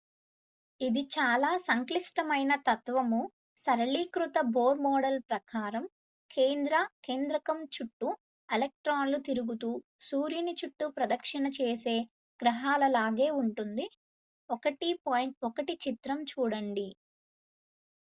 ఇది చాలా సంక్లిష్టమైన తత్వము సరళీకృత బోర్ మోడల్ ప్రకారం కేంద్ర కేంద్రకం చుట్టూ ఎలక్ట్రాన్లలు తిరుగుతూ సూర్యుని చుట్టూ ప్రదక్షిణ చేసే గ్రహాలలాగే ఉంటుంది - 1.1 చిత్రం చూడండి